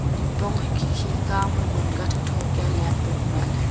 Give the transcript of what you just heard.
nipong he khe khe kya mon mon kya ley apong lah le.